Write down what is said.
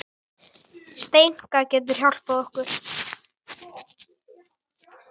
Steinka getur hjálpað okkur